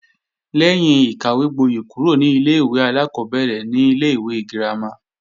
Lẹ́yìn ìkàwégbóyè kúrò ní ilé-ìwé alákọ́bẹ̀rẹ̀ ni ilé-ìwé girama